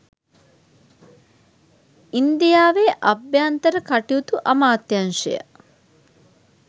ඉන්දියාවේ අභ්‍යන්තර කටයුතු අමාත්‍යාංශය